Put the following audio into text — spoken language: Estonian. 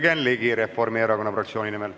Jürgen Ligi Reformierakonna fraktsiooni nimel.